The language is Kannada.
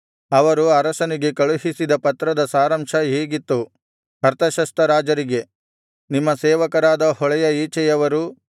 ಅವರು ಅರಸನಿಗೆ ಕಳುಹಿಸಿದ ಪತ್ರದ ಸಾರಾಂಶ ಹೀಗಿತ್ತು ಅರ್ತಷಸ್ತ ರಾಜರಿಗೆ ನಿಮ್ಮ ಸೇವಕರಾದ ಹೊಳೆಯ ಈಚೆಯವರು